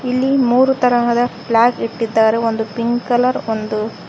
ಇಲ್ಲಿ ಮೂರು ತರಹದ ಪ್ಲಾಗ್ ಇಟ್ಟಿದ್ದಾರೆ ಒಂದು ಪಿಂಕ್ ಕಲರ್ ಒಂದು--